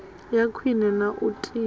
ya khwine na u tinya